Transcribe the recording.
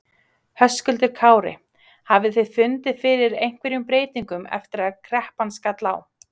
Höskuldur Kári: Hafið þið fundið fyrir einhverjum breytingum eftir að kreppan skall á?